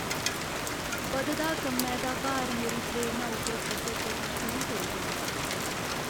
बधदा कम्मै दा भार मेरी प्रेरणा उप्पर असर करना शुरू करी गेदा ऐ।